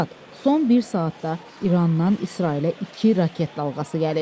Stat: Son bir saatda İrandan İsrailə iki raket dalğası gəlib.